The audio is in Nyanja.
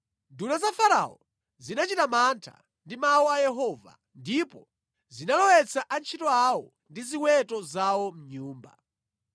Nduna za Farao zinachita mantha ndi mawu a Yehova, ndipo zinalowetsa antchito awo ndi ziweto zawo mʼnyumba.